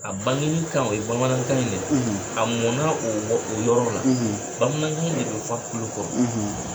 A bangeni kan o ye bamanankan in de ye, , a mɔnna o o yɔrɔ la, , bamanankan in de f'a kulo kɔrɔ,